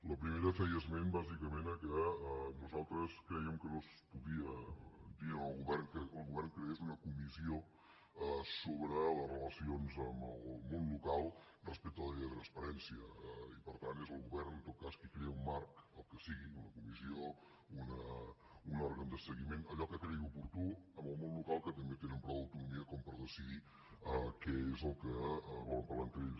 la primera feia esment bàsicament al fet que nosaltres crèiem que no es podia dir al govern que el govern creés una comissió sobre les relacions amb el món local respecte a la llei de transparència i per tant és el govern en tot cas qui crea un marc el que sigui una comissió un òrgan de seguiment allò que cregui oportú amb el món local que també tenen prou autonomia per decidir què és el que volen parlar entre ells